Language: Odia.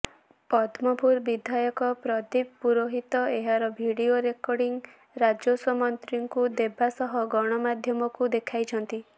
ପଦ୍ମପୁର ବିଧାୟକ ପ୍ରଦୀପ ପୁରୋହିତ ଏହାର ଭିଡିଓ ରେକର୍ଡିଂ ରାଜସ୍ୱ ମନ୍ତ୍ରୀଙ୍କୁ ଦେବା ସହ ଗଣମାଧ୍ୟମକୁ ଦେଖାଇଛନ୍ତି